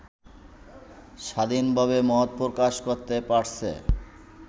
স্বাধীনভাবে মত প্রকাশ করতে পারছে